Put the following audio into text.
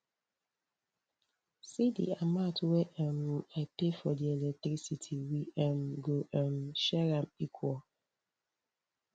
see di amount wey um i pay for electricity we um go um share am equal